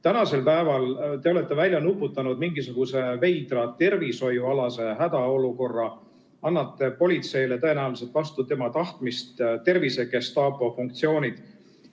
Tänasel päeval te olete välja nuputanud mingisuguse veidra tervishoiualase hädaolukorra, annate politseile tõenäoliselt vastu tema tahtmist tervisegestaapo funktsioonid.